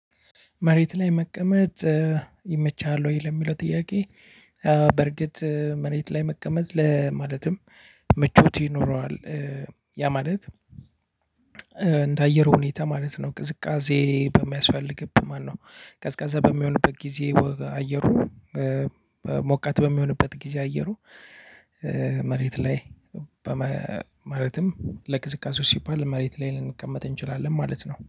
መሬት ላይ መቀመጥ ይመችሃል ወይ ለሚለው ጥያቄ? በርግጥ መሬት ላይ መቀመጥ ለማለትም ምቾት ይኖረዋል። ያ ማለት እንደ አየር ሁኔታ ማለት ነው። ቅዝቃዜ በሚያስፈልግበት ማነው ቀዝቃዛ በሚሆንበት ጊዜ አየሩ ሞቃት በሚሆንበት ጊዜ አየሩ። መሬት ላይ ማለትም ለቅዝቃዜው ሲባል መሬት ላይ ልንቀመጥ እንችላለን ማለት ነው